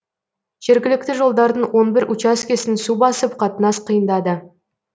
жергілікті жолдардың он бір учаскесін су басып қатынас қиындады